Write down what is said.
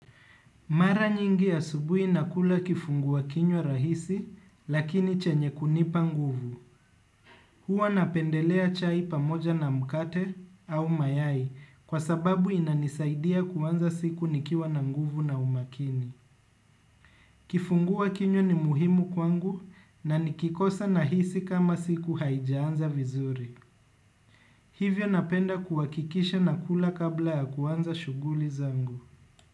Mara nyingi asubuhi nakula kifungua kinywa rahisi lakini chenye kunipa nguvu. Huwa napendelea chai pamoja na mkate au mayai kwa sababu inanisaidia kuanza siku nikiwa na nguvu na umakini. Kifungua kinywa ni muhimu kwangu na nikikosa nahisi kama siku haijaanza vizuri. Hivyo napenda kuhakikisha nakula kabla ya kuanza shughuli zangu.